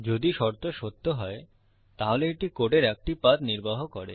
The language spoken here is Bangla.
যদি শর্ত সত্য হয় তাহলে এটি কোডের একটি পাথ নির্বাহ করে